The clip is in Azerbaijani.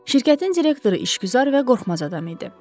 Şirkətin direktoru işgüzar və qorxmaz adam idi.